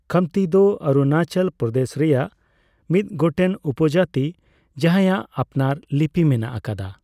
ᱠᱷᱟᱢᱛᱤ ᱫᱚ ᱚᱨᱩᱱᱟᱪᱚᱞ ᱯᱨᱚᱫᱮᱥ ᱨᱮᱭᱟᱜ ᱢᱤᱫ ᱜᱚᱴᱮᱱ ᱩᱯᱚᱡᱟᱹᱛᱤ ᱡᱟᱦᱟᱸᱭᱟᱜ ᱟᱯᱱᱟᱨ ᱞᱤᱯᱤ ᱢᱮᱱᱟᱜ ᱟᱠᱟᱫᱟ ᱾